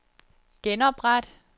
genopret